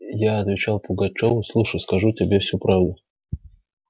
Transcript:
я отвечал пугачёву слушай скажу тебе всю правду